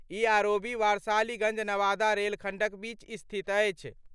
ई ROB Warisaliganj-Nawada rail खंडक बीच स्थित अछि।